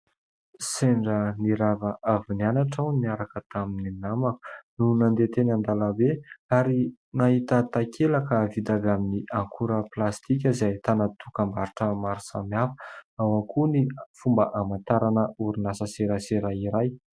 Sendra nirava avy nianatra aho niaraka tamin'ny namaka no nandeha teny an-dalambe ary nahita takelaka vita avy amin'ny akora plastika izay ahitana dokam-barotra maro samy hafa, ao ihany koa ny fomba hamantarana orinasa, serasera iray.